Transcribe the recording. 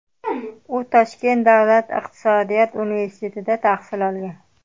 U Toshkent davlat iqtisodiyot universitetida tahsil olgan.